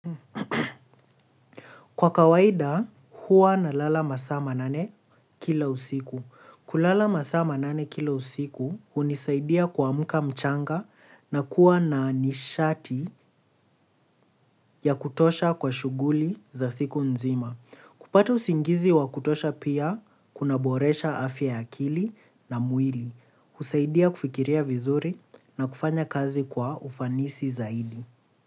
Kwa kawaida huwa nalala masaa ma nane kila usiku. Kulala masaa nane kila usiku hunisaidia kuamka mchanga na kuwa na nishati ya kutosha kwa shughuli za siku nzima. Kupata usingizi wa kutosha pia kunaboresha afya ya akili na mwili husaidia kufikiria vizuri na kufanya kazi kwa ufanisi zaidi.